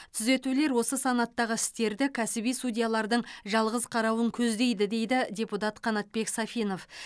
түзетулер осы санаттағы істерді кәсіби судьялардың жалғыз қарауын көздейді дейді депутат қанатбек сафинов